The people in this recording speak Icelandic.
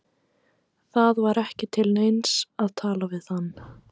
Það var ekki til neins að tala við hann.